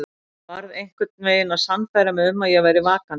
Varð einhvern veginn að sannfæra mig um að ég væri vakandi.